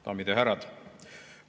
Daamid ja härrad!